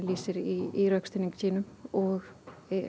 lýsir í rökstuðningi sínum og